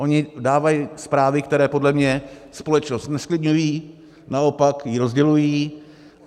Oni dávají zprávy, které podle mě společnost nezklidňují, naopak ji rozdělují.